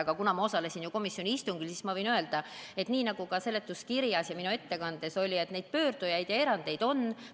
Aga kuna ma ise osalesin komisjoni istungil, siis ma võin öelda, et nii nagu seletuskirjas ja minu ettekandes mainitud, neid pöördujaid ja erandeid on.